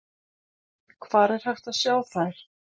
Hvar er hægt að sjá þær?